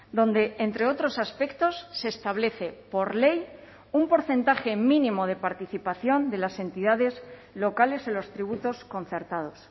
donde entre otros aspectos se establece por ley un porcentaje mínimo de participación de las entidades locales en los tributos concertados